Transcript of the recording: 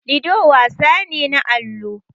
Lido wasan ne na allo.